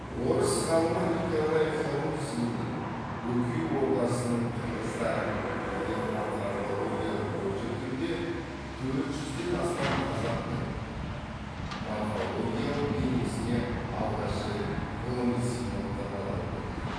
орыс ғалымы николай харузиннің бөкей ордасының қырғыздары деген антропологиялық очеркінде төрт жүзден астам қазақтың морфологиялық бейнесіне алғаш рет ғылыми сипаттамалар берді